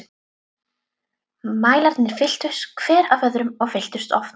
Mælarnir fylltust, hver af öðrum- og fylltust oft.